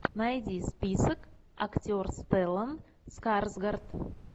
найди список актер стеллан скарсгард